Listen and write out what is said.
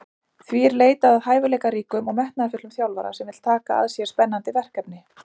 Því er leitað að hæfileikaríkum og metnaðarfullum þjálfara sem vill taka að sér spennandi verkefni.